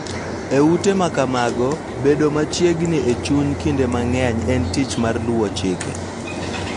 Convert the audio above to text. E ute ma kamago, bedo machiegni e chuny kinde mang�eny en tich mar luwo chike .